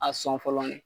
A sɔn fɔlɔ de